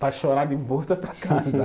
para chorar de volta para casa.